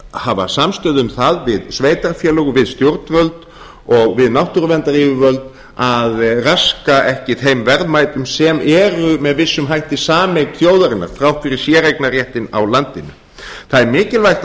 hafa samstöðu um það við sveitarfélög við stjórnvöld og við náttúruverndaryfirvöld að raska ekki þeim verðmætum sem eru með vissum hætti sameign þjóðarinnar þrátt fyrir séreignarréttinn á landinu það er mikilvægt að